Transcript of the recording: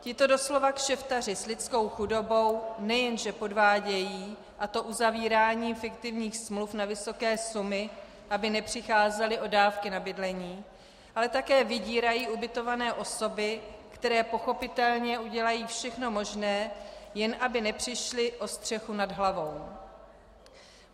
Tito doslova kšeftaři s lidskou chudobou nejenže podvádějí, a to uzavíráním fiktivních smluv na vysoké sumy, aby nepřicházeli o dávky na bydlení, ale také vydírají ubytované osoby, které pochopitelně udělají všechno možné, jen aby nepřišly o střechu nad hlavou.